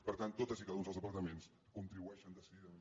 per tant tots i cada un dels departaments contribueixen decididament